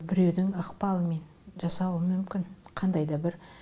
біреудің ықпалымен жасалуы мүмкін қандай да бір